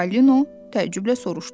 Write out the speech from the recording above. Çipalino təəccüblə soruşdu.